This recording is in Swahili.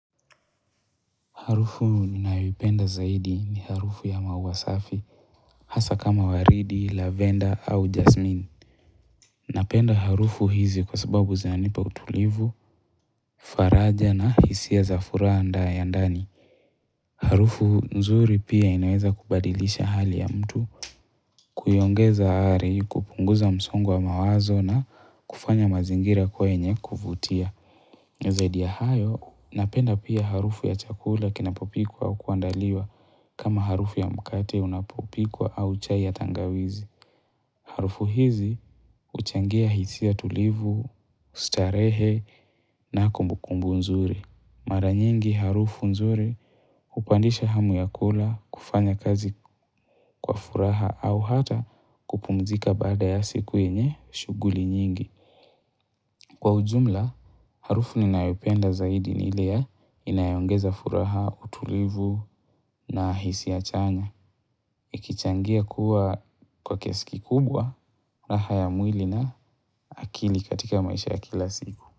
Harufu ninayoipenda zaidi ni harufu ya maua safi hasa kama waridi lavender au jasmini napenda harufu hizi kwa sababu zanipa utulivu faraja na hisia za furaha ya ndani harufu nzuri pia inaweza kubadilisha hali ya mtu kuiongeza hali kupunguza msongo wa mawazo na kufanya mazingira kuwa yenye kuvutia Zaidi ya hayo, napenda pia harufu ya chakula kinapopikwa au kuandaliwa kama harufu ya mkate unapopikwa au chai ya tangawizi. Harufu hizi huchangia hisia tulivu, starehe na kumbukumbu nzuri. Mara nyingi harufu nzuri hupandisha hamu ya kula kufanyakazi kwa furaha au hata kupumzika baada ya siku yenye shughuli nyingi. Kwa ujumla, harufu ninayopenda zaidi ni ile ya inayoongeza furaha, utulivu na hisia chanya. Ikichangia kuwa kwa kiasi kikubwa, raha ya mwili na akili katika maisha ya kila siku.